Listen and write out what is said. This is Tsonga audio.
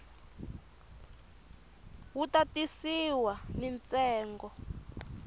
wu ta tisiwa ni ntsengo